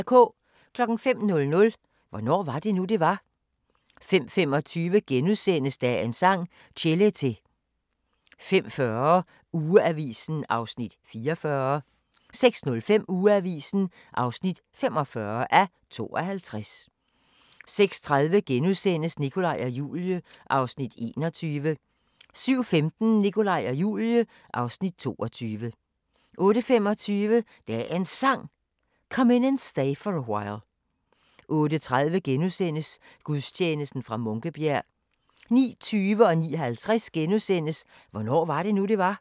05:00: Hvornår var det nu, det var? 05:25: Dagens Sang: Chelete * 05:40: Ugeavisen (44:52) 06:05: Ugeavisen (45:52) 06:30: Nikolaj og Julie (Afs. 21)* 07:15: Nikolaj og Julie (Afs. 22) 08:25: Dagens Sang: Come In And Stay For A While 08:30: Gudstjeneste fra Munkebjerg * 09:20: Hvornår var det nu, det var? * 09:50: Hvornår var det nu, det var? *